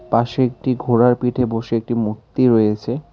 পাশে একটি ঘোড়ার পিঠে বসে একটি মূর্তি রয়েছে।